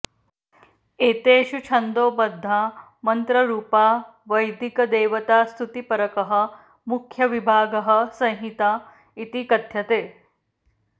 एतेषु छन्दोबद्धा मन्त्ररूपा वैदिकदेवतास्तुतिपरकः मुख्यविभागः संहिता इति कथ्यते